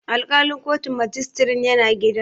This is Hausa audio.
Alƙalin kotun majistirin yana gida.